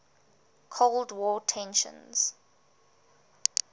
cold war tensions